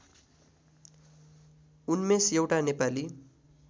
उन्मेष एउटा नेपाली